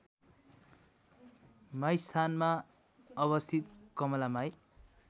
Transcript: माईस्थानमा अवस्थित कमलामाई